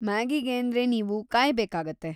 ಮ್ಯಾಗಿಗೇಂದ್ರೆ ನೀವು ಕಾಯ್ಬೇಕಾಗತ್ತೆ.